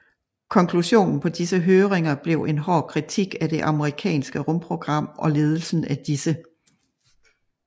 Konklusionen på disse høringer blev en hård kritik af det amerikanske rumprogram og ledelsen af disse